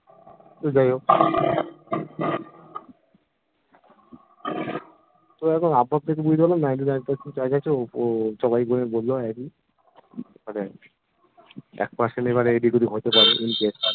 তো যাইহোক তো দেখো আব ভাব দেখে বুঝতে পারলাম ninety-nine percent chance আছে এক percent এবার এদিক ওদিক হতে পারে in case